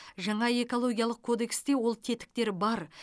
жаңа экологиялық кодексте ол тетіктер бар